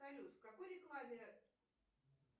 салют в какой рекламе